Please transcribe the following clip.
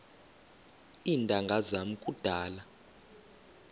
iintanga zam kudala